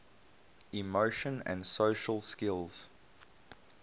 emotion and social skills